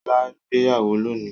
Ṣọlá gbéyàwó lónìí?